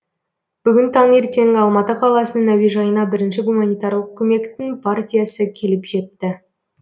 бүгін таңертең алматы қаласының әуежайына бірінші гуманитарлық көмектің партиясы келіп жетті